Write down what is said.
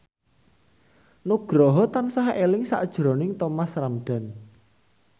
Nugroho tansah eling sakjroning Thomas Ramdhan